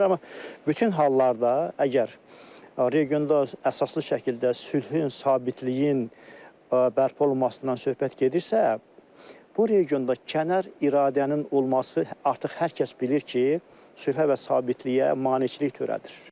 Amma bütün hallarda əgər regionda əsaslı şəkildə sülhün, sabitliyin bərpa olunmasından söhbət gedirsə, bu regionda kənar iradənin olması artıq hər kəs bilir ki, sülhə və sabitliyə maneçilik törədir.